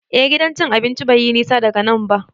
Eh, Gidan cin abinci bai yi nisa daga nan ba.